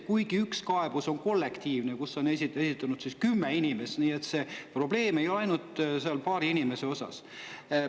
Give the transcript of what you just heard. Kuigi üks kaebus on kollektiivne, selle on esitanud kümme inimest, nii et see probleem ei ole ainult paaril inimesel.